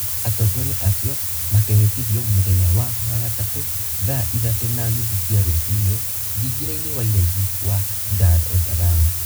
Atongoria acio makehĩtithio mũthenya wa wagatatũ thaa ithatũ na nuthu cia rũcinĩ thingira-inĩ wa iregi wa Dar es Salaam.